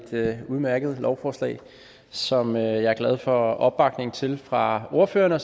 udmærket lovforslag som jeg er glad for opbakningen til fra ordførerne og